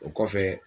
O kɔfɛ